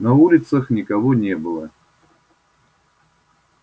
на улицах никого не было